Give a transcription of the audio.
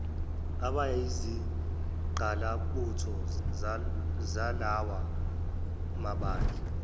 abayizingqalabutho zalawa mabandla